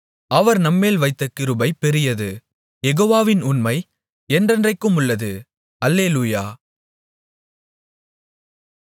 அவர் நம்மேல் வைத்த கிருபை பெரியது யெகோவாவின் உண்மை என்றென்றைக்குமுள்ளது அல்லேலூயா